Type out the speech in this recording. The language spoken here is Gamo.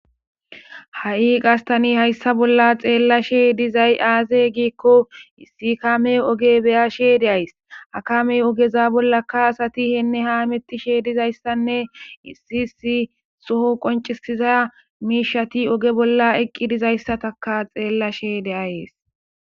Ha'i gastani hayssa bolla xeellashe dizay aaze giikko issi kame oge beya she deays akamey ogeza bolla ka asati heenne ha mettishe dizayssanne issi issi soho qoncisiza miishati oge bolla eqqi dizayssataka xeellashe deayees.